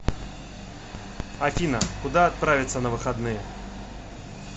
афина куда отправится на выходные